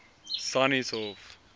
sannieshof